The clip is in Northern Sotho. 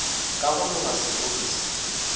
ka go loga seroto se